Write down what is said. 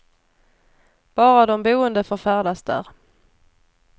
Bara de boende får färdas där.